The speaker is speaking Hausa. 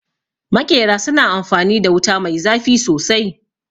Maƙera su na amfanin da wuta mai zafi sosai